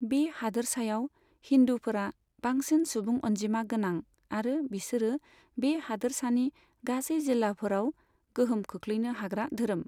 बे हादोरसायाव हिन्दुफोरा बांसिन सुबुं अनजिमा गोनां आरो बिसोरो बे हादोरसानि गासै जिल्लाफोराव गोहोम खोख्लैनो हाग्रा धोरोम।